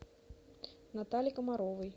натальи комаровой